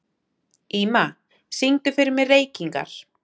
Ýma, syngdu fyrir mig „Reykingar“.